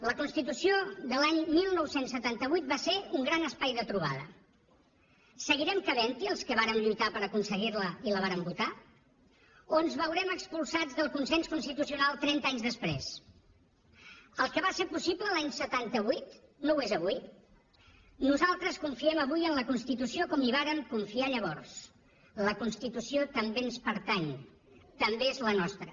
la constitució de l’any dinou setanta vuit va ser un gran espai de trobada seguirem cabent hi els que vàrem lluitar per aconseguir la i la vàrem votar o ens veurem expulsats del consens constitucional trenta anys després el que va ser possible l’any setanta vuit no ho és avui nosaltres confiem avui en la constitució com hi vàrem confiar llavors la constitució també ens pertany també és la nostra